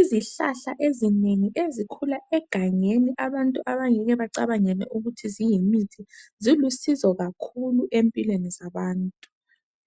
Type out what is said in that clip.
Izihlahla ezinengi ezikhula egangeni abantu abangeke bacabangele ukuthi yizimithi zilusizo kakhulu empilweni zabantu.